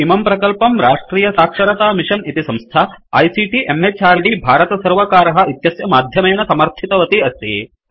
इमं प्रकल्पं राष्ट्रियसाक्षरतामिषन् इति संस्था आईसीटी म्हृद् भारतसर्वकारः इत्यस्य माध्यमेन समर्थितवती अस्ति